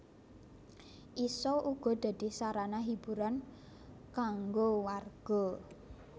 Isa uga dadi sarana hiburan kangga warga